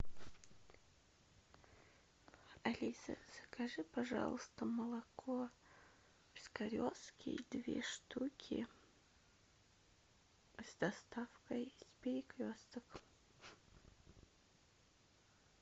алиса закажи пожалуйста молоко пискаревский две штуки с доставкой с перекресток